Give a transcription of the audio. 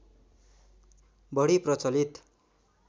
बढी प्रचलित